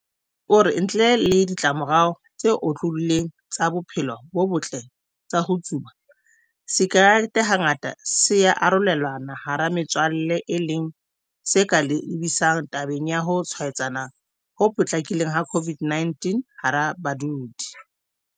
Egbe o re ntle le ditlamorao tse otlolohileng tsa bophelo bo botle tsa ho tsuba, sakerete hangata se ya arolelanwa hara metswalle e leng se ka lebisang tabeng ya ho tshwaetsana ho potlakileng ha COVID-19 hara badudi.